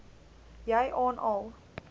jy aan al